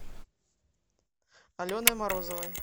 аленой морозовой